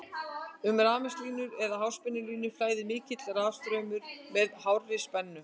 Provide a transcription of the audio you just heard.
um rafmagnslínur eða háspennulínur flæðir mikill rafstraumur með hárri spennu